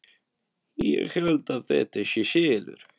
Ég held að þetta sé SELUR!